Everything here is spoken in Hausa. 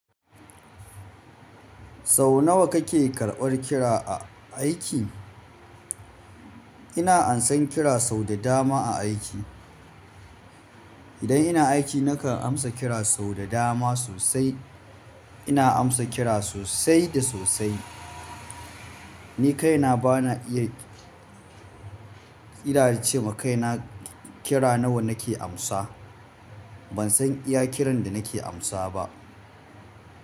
Sau nawa kake karɓar kira a aiki? Ina amsa kira sau da dama a aiki. Idan ina aiki nakan amsa kira sau da dama sosai. Ina amsa kira sosai da sosai. Ni kaina bana iya kira cema kai na kira nawa nake amsa. Ban san iya kiran da nake amsa ba.